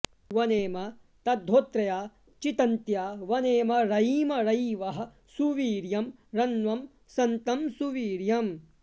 वनेम तद्धोत्रया चितन्त्या वनेम रयिं रयिवः सुवीर्यं रण्वं सन्तं सुवीर्यम्